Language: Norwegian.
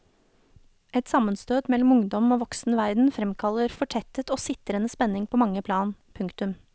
Et sammenstøt mellom ungdom og voksen verden fremkaller fortettet og sitrende spenning på mange plan. punktum